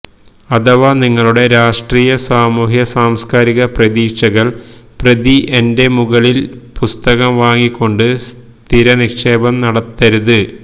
അഥവാ നിങ്ങളുടെ രാഷ്ട്രീയ സാമൂഹ്യ സാംസ്കാരിക പ്രതീക്ഷകൾ പ്രതി എന്റെ മുകളിൽ പുസ്തകം വാങ്ങിക്കൊണ്ട് സ്ഥിരനിക്ഷേപം നടത്തരുത്